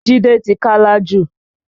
Jide ti Kálá jù